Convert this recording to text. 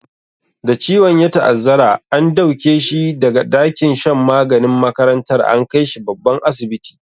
Da ciwon ya ta'azzara, an dauke shi da ga dakin shan maganin makarantar, an kai shi babban asibiti.